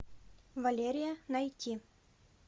валерия найти